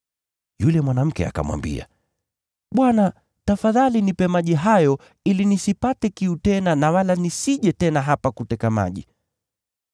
Yule mwanamke akamwambia, “Bwana, tafadhali nipe maji hayo ili nisipate kiu tena na wala nisije tena hapa kuteka maji!”